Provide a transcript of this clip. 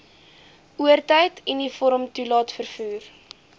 oortyd uniformtoelae vervoer